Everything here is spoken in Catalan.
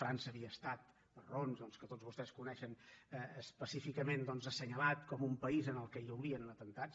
frança havia estat per raons doncs que tots vostès coneixen específicament assenyalat com un país en què haurien atemptats